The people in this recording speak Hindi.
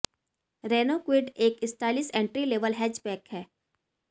रेनो क्विड एक स्टाइलिश एंट्री लेवल हैचबैक है